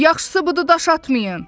Yaxşısı budur daş atmayın.